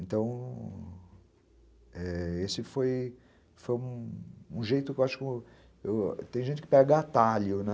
Então, é... esse foi foi um jeito tem gente que pega atalho, né?